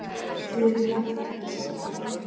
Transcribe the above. Þið eruð nú væntanlega ekki sammála því?